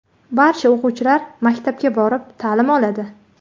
Barcha o‘quvchilar maktabga borib, ta’lim oladi.